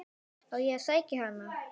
Á ég að sækja hann?